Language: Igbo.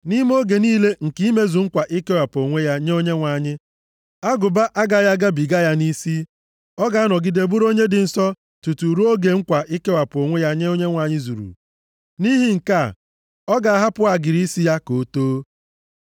“ ‘Nʼime oge niile nke imezu nkwa ikewapụ onwe ya nye Onyenwe anyị, agụba agaghị agabiga ya nʼisi. Ọ ga-anọgide bụrụ onye dị nsọ tutu ruo oge nkwa ikewapụ onwe ya nye Onyenwe anyị zuru. Nʼihi nke a, ọ ga-ahapụ agịrị isi ya ka o too.